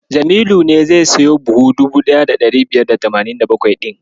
Jamilu ne zai siyo buhu 1587 ɗin.